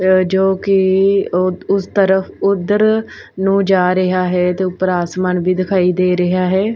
ਜੋ ਕੀ ਉਸ ਤਰਫ਼ ਉਧਰ ਨੂੰ ਜਾ ਰਿਹਾ ਹੈ ਤੇ ਊਪਰ ਆਸਮਾਨ ਵੀ ਦਿਖਾਈ ਦੇ ਰਿਹਾ ਹੈ।